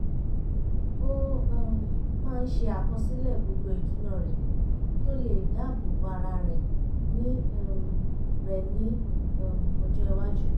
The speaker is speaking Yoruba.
ó um máa ń ṣe àkọsílẹ̀ gbogbo ìdùná rẹ̀ kí ó lè dáàbò bo ara rẹ̀ ní um rẹ̀ ní um ọjọ́ iwájú